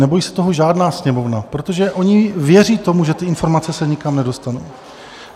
Nebojí se toho žádná Sněmovna, protože oni věří tomu, že ty informace se nikam nedostanou.